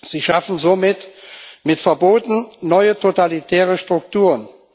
Sie schaffen somit mit Verboten neue totalitäre Strukturen.